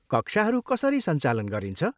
कक्षाहरू कसरी संचालन गरिन्छ?